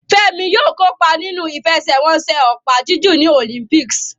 Femi yóò kópa nínú ìfẹsẹ̀wọnsẹ̀ opa-jiju ní Olympics.